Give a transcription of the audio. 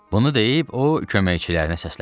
Bunu deyib o köməkçilərinə səsləndi.